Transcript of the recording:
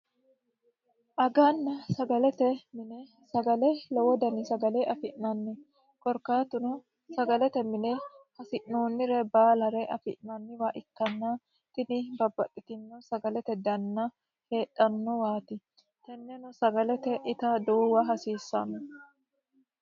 aganna sagalete mine sagale lowo dani sagale afi'nanni korkkatuno sagalete mine hasi'noonnire baalare afi'nanniha ikkanna tini babbaxitino sagalete danna heedhannowaati tini sagale ita duuwahasiissanno